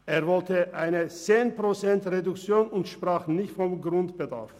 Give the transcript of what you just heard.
Er wollte eine Reduktion um 10 Prozent und sprach nicht vom Grundbedarf.